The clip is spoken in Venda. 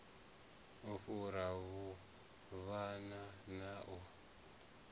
u fhura vhuvhava na u